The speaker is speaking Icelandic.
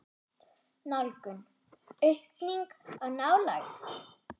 Nálgun: aukning á nálægð?